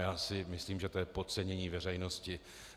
Já si myslím, že to je podcenění veřejnosti.